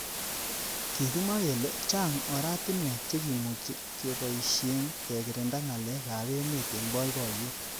Kikimwa kele chang oratunwek chekimuchi keboishenkekirinda ngalek ab emet eng boiboyet.